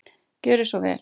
Gerið svo vel!